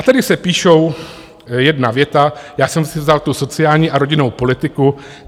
A tady se píše jedna věta, já jsem si vzal tu sociální a rodinnou politiku.